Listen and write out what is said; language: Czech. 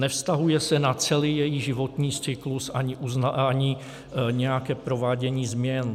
Nevztahuje se na celý její životní cyklus ani nějaké provádění změn.